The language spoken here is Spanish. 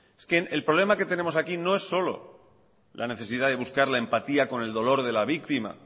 el problema que tenemos aquí no es solo la necesidad de buscar la empatía con el dolor de la víctima